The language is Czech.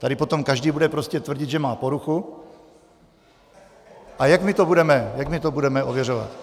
Tady potom každý bude prostě tvrdit, že má poruchu, a jak my to budeme ověřovat?